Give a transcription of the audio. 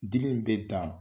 Dili in bɛ dan